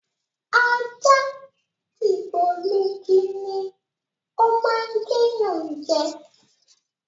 Ajá dìgbòlugi ni o máa ń gé yan je.